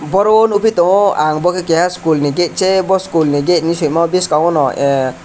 oro o nogoi tango ang bo ke keha school ni gate se bo school ni gate ni simo biskango no ah.